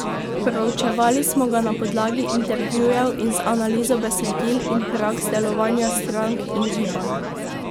Proučevali smo ga na podlagi intervjujev in z analizo besedil in praks delovanja strank in gibanj.